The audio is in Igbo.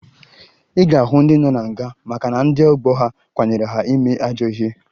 Ị ga-ahụ ndị nọ na nga maka na ndị ọgbọ ha kwanyere ha ime ajọ ihe